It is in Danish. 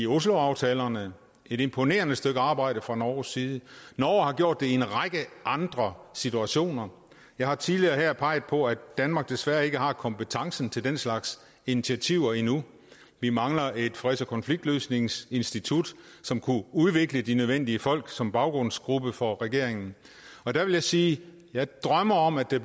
osloaftalerne et imponerende stykke arbejde fra norges side norge har gjort det i en række andre situationer jeg har tidligere her peget på at danmark desværre ikke har kompetencen til den slags initiativer endnu vi mangler et freds og konfliktløsningsinstitut som kunne udvikle de nødvendige folk som baggrundsgruppe for regeringen og der vil jeg sige jeg drømmer om at der